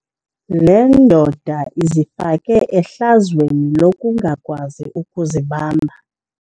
Le ndoda izifake ehlazweni lokungakwazi ukuzibamba.